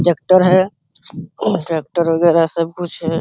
Tractor है। Tractor वगैरह सब कुछ है।